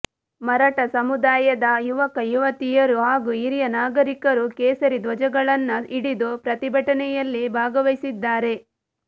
ಮರಾಠ ಸಮುದಾಯದ ಯುವಕ ಯುವತಿಯರು ಹಾಗೂ ಹಿರಿಯ ನಾಗರೀಕರು ಕೇಸರಿ ಧ್ವಜಗಳನ್ನ ಹಿಡಿದು ಪ್ರತಿಭಟನೆಯಲ್ಲಿ ಭಾಗವಹಿಸಿದ್ದಾರೆ